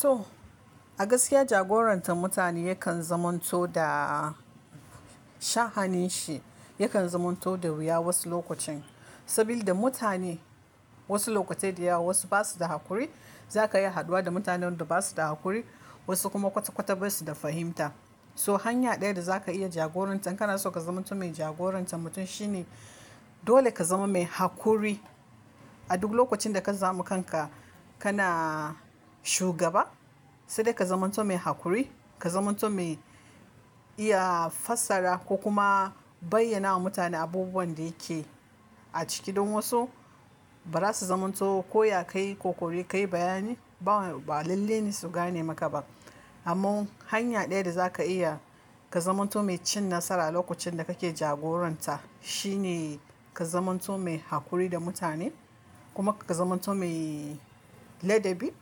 To, a gaskiya jagorantan mutane yakan zamanto daa sha hanin shi, yakan zamanto da wuya wasu lokacin. Saboda mutane wasu lokatai da yawa wasu basu da haƙuri. Zaka yi haduwa da mutanen da basu da haƙuri, wasu kuma kwata-kwata basu da fahimta. So hanya ɗaya da zaka iya jagorantar ka na so ka zamanto mai jagorantar mutum shine dole ka zama mai haƙuri a duk lokacin da ka samu kanka kana shugaba. Sai dai ka zamanto mai haƙuri, ka zamanto mai iya fassara ko kuma bayyana wa mutane abubuwan da yake a ciki don wasu ba za su zamanto ko ya ka yi kokari, ka yi bayani ba, ba lalle ne su gane maka ba. Amma hanya ɗaya da zaka iya ka zamanto mai cin nasara lokacin da kake jagoranta shine ka zamanto mai haƙuri da mutane kuma ka zamanto mai ladabi,